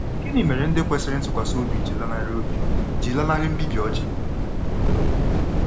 Gịnị mere ndị kwesịrị ntụkwasị obi ji lanarị obi ji lanarị mbibi Oji?